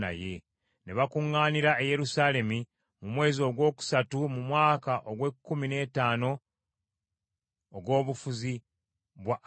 Ne bakuŋŋaanira e Yerusaalemi mu mwezi ogwokusatu mu mwaka ogw’ekkumi n’ettaano ogw’obufuzi bwa Asa.